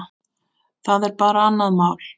Það er bara annað mál.